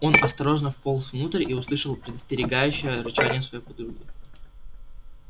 он осторожно вполз внутрь и услышал предостерегающее рычание своей подруги